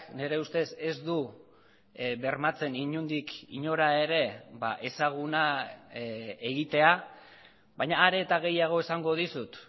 nire ustez ez du bermatzen inondik inora ere ezaguna egitea baina are eta gehiago esango dizut